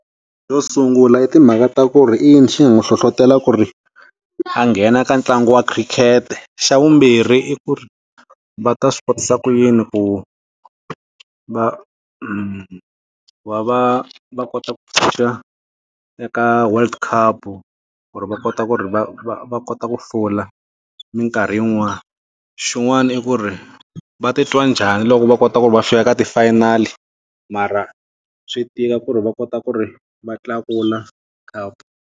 Xo sungula i timhaka ta ku ri i yini xi nga n'wi hlohlotela ku ri a nghena ka ntlangu wa khirikete, xa vumbirhi i ku va ta swi kotisa ku yini ku va ku va va va kota ku phusha eka world cup ku ri va kota ku ri va va va kota ku hlula minkarhi yin'wana, xin'wana i ku ri va ti twa njhani loko va kota ku ri va fika ka ti-final mara swi tika ku ri va kota ku ri va tlakula cup.